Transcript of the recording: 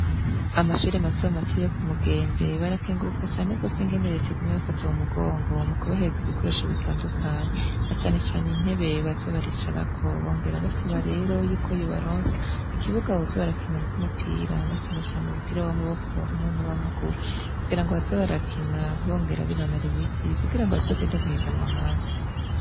Amashuri matomato yoku mugembe barakenguruka cane gose ingene reta iguma ibafata mu mugongo mu kubahereza ibikoresho bitandukanye na canecane intebe baza baricarako bongera basaba rero yuko yobaronsa ikibuga boza barakinirako umupira na canecane umupira w'amaboko hamwe n'uwamaguru kugira ngo baze barakina bongera binonora imitsi kugira ngo bazogende guhiganwa ahandi.